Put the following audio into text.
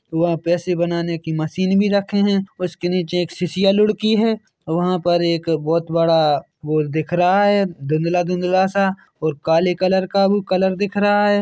वह पैसे बनाने की मशीन भी रखे है और उसके नीचे एक शिष्या लुड़की है और वहाँ पर एक बोहत बड़ा वॉर दिख रहा है धुंदला धुंधला सा और काले कलर का हु कलर दिख रहा है।